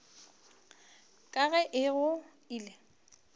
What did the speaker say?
ka ga e go ile